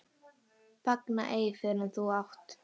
Fagna ei fyrr en þú átt.